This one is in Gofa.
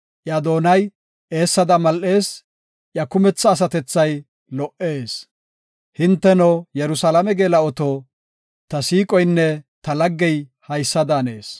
Iya doonay eessada mal7ees; iya kumetha asatethay lo77ees. Hinteno Yerusalaame geela7oto, ta siiqoynne ta laggey haysa daannes.